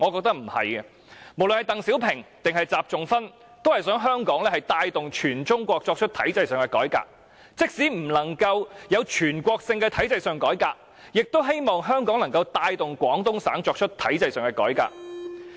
不論鄧小平還是習仲勳皆想香港帶動全中國作出體制上的改革，而即使不能實施全國性的體制改革，也希望香港能夠帶動廣東省作出體制上的改革。